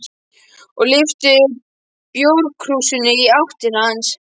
og lyfti bjórkrúsinni í átt til hans.